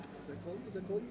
Markus Schütz (d)